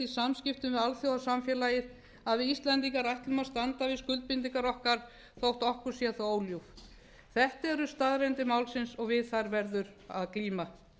í samskiptum við alþjóðasamfélagið að við íslendingar ætlum að standa við skuldbindingar okkar þótt okkur sé það óljúft þetta eru staðreyndir málsins og við þær verður að glíma